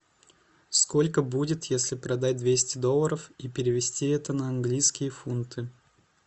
сколько будет если продать двести долларов и перевести это на английские фунты